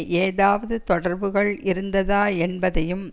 ஏதாவது தொடர்புகள் இருந்ததா என்பதையும்